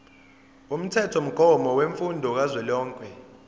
umthethomgomo wemfundo kazwelonke